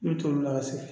N bɛ t'o la segin